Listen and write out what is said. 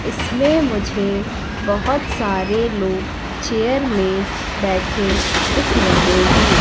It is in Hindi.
इसमें मुझे बहोत सारे लोग चेयर में बैठे दिख रहे हैं।